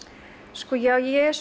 sko ég er